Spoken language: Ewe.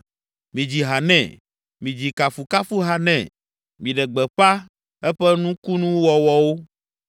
Midzi ha nɛ, midzi kafukafuha nɛ, Miɖe gbeƒã eƒe nukunuwɔwɔwo;